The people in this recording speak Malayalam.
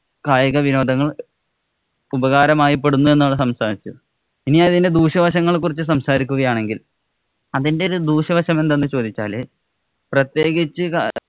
കായിക വിനോദങ്ങള്‍ ഉപകാരമായി പ്പെടുന്നു എന്നാണ് സംസാരിച്ചേ. ഇനി അതിന്‍റെ ദൂഷ്യവശങ്ങളെ കുറിച്ച് സംസാരിക്കുകയാണെങ്കില്‍ അതിന്‍റെ ഒരു ദൂഷ്യവശം എന്തെന്ന് ചോദിച്ചാല് പ്രത്യേകിച്ച്